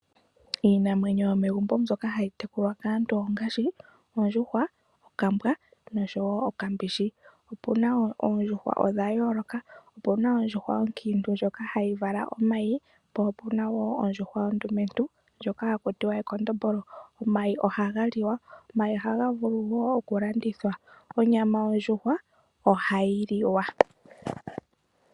Iinamwenyo yomegumbo mbyoka hayi tekulwa kaantu ongaashi ondjuhwa, okambwa noshowo okambishi. Opuna wo oondjuhwa odha yoloka. Opuna ondjuhwa onkiintu ndjoka hayi vala omayi po opuna wo ondjuhwa ondumentu ndjoka haku tiwa ekondombolo. Omayi ohaga vulu oku landithwa. Onyama ondjuhwa ohayi liwa.